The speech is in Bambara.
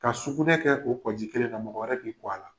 Ka sugunɛ kɛ o kɔji kelen na, mɔgɔ wɛrɛ k'i kɔ a la.